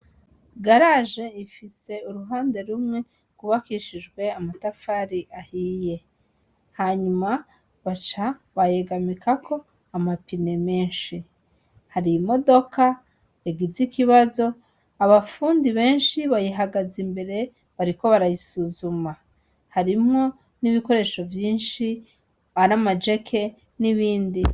Garaje ifise uruhande rumwe gwubakishijwe amatafari ahiye, hanyuma baca bayegaminako ama pine menshi , hari imodoka yagize ikibazo ,abafundi benshi bayihagaze imbere bariko barayisuzuma , harimwo n' ibikoresho vyishi ari ama jeke n' ibindi.